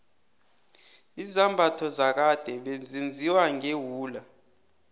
izambatho zakade bezenziwa ngewula